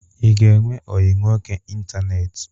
Ị ga-enwe ọyị nwoke ịntaneetị?